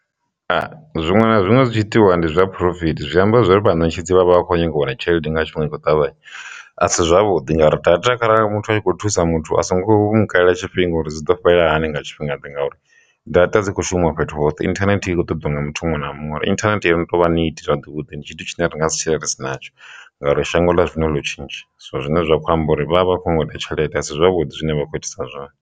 Zwiṅwe na zwiṅwe zwi tshi itiwa ndi zwa phurofiti zwi amba zwori vha ṋetshedzi vhavha vha khou nyanga u wana tshelede nga tshifhinga i kho ṱavhanya, a si zwavhuḓi ngauri data kharali muthu a tshi kho thusa muthu a songo mu kalela tshifhinga uri zwi ḓo fhela hani nga tshifhinga ndi ngauri data dzi khou shuma fhethu hoṱhe, internet i kho ṱoḓa nga muthu muṅwe na muṅwe uri internet i no to vha neee zwavhuḓi ndi tshithu tshine ri nga si tshile ri si natsho ngauri shango ḽa zwino ḽo tshintsha so zwine zwa khou amba uri vha vha kho ṱoḓa tshelede a si zwavhuḓi zwine vha khou itisa zwone.